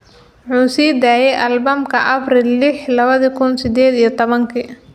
Wuxuu sii daayay albamka Abriil liix, lawadhi kun sideed iyo tobaanki